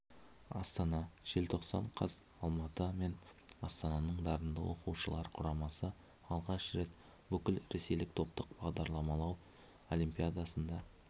астана желтоқсан қаз алматы мен астананың дарынды оқушылар құрамасы алғаш рет бүкіл ресейлік топтық бағдарламалау олимпиадасында